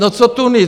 No co Tunis?